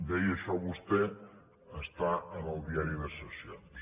deia això vostè està en el diari de sessions